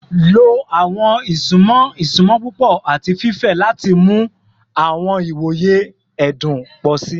Lo awọn isunmọ isunmọ pupọ ati fifẹ lati mu awọn iwoye ẹdun pọ si